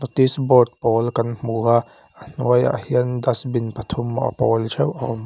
notice board pawl kan hmu a a hnuai ah dustbin pathum a pawl theih a awm--